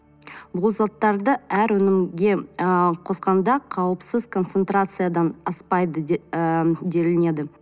бұл заттарды әр өнімге ы қосқанда қауіпсіз концентрациядан аспайды ыыы делінеді